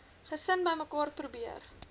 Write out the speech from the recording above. gesin bymekaar probeer